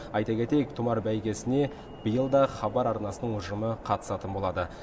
айта кетейік тұмар бәйгесіне биыл да хабар арнасының ұжымы қатысатын болады